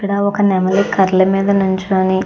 ఇక్కడ ఒక నెమలి కర్రల మీద నిల్చొని --